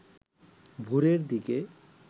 ভোরের দিকে